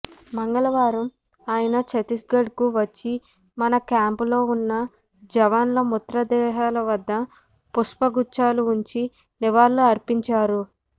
మంగళవారం ఆయన ఛత్తీస్గఢ్కు వచ్చి మనా క్యాంపులో ఉన్న జవాన్ల మృతదేహాల వద్ద పుష్ప గుచ్ఛాలు ఉంచి నివాళులు అర్పించారు